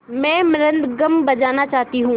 मैं मृदंगम बजाना चाहती हूँ